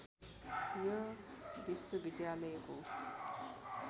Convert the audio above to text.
यो विश्वविद्यालयको